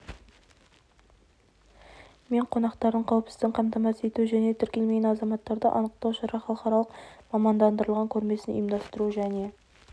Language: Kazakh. мен қонақтарының қауіпсіздігін қамтамасыз ету және тіркелмеген азаматтарды анықтау шара халықаралық мамандандырылған көрмесін ұйымдастыру және